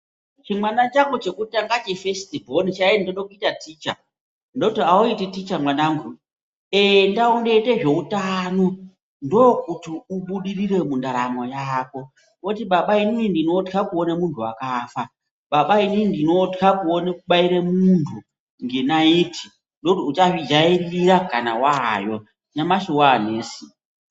Chimwana changu chengutanga chefesiti bhoni chaiti ndode kuite ticha ndoti auti ticha mwaanangu enda undoite zveutano ndokuti ubudirire mundaramo yako ,oti baba inini ndinotya kuone munhu wakafa ,baba inini ndinotya kuone kubaire munhu ngenaiti , ndoti uchazvijairire kana wayo, nyamashi waanesi.